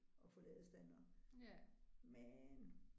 Og få ladestandere men